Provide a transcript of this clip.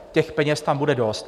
Těch peněz tam bude dost.